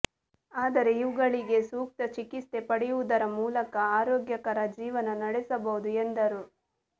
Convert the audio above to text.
ಆದರೆ ಇವುಗಳಿಗೆ ಸೂಕ್ತ ಚಿಕಿತ್ಸೆ ಪಡೆಯುವುದರ ಮೂಲಕ ಆರೋಗ್ಯಕರ ಜೀವನ ನಡೆಸಬಹುದು ಎಂದರು